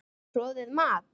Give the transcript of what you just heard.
Troðið mat?